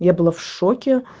я была в шоке